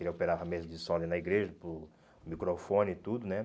Ele operava mesa de som ali na igreja, para o microfone e tudo, né?